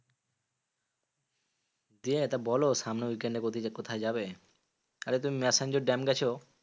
দিয়ে তো বলো সামনের weekend এ ওদিকে কোথায় যাবে? আরে তুমি ম্যাসাঞ্জোর dam গেছো?